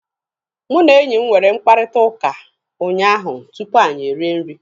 Mụ na enyi m nwere mkparịkọtaụka unyaahụ tupu anyị erie nri.